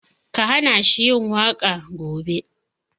Ka hana shi yin waƙa gobe!